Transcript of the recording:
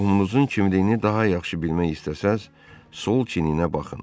Qohumunuzun kimliyini daha yaxşı bilmək istəsəniz, sol çiyninə baxın.